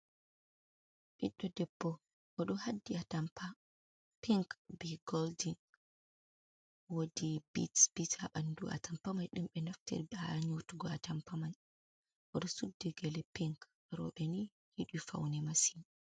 Ɓiɗɗo debbo o ɗo haddi a tampa pink, be goldin wodi bit- bit haɓandu a tampa mai ɗumɓe naftiri ha nyotugo a tampamai, o ɗo suddi gele pink roɓe ni yiɗi faune masin.